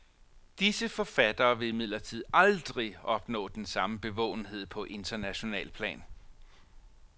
Disse forfattere vil imidlertid aldrig opnå den samme bevågenhed på internationalt plan.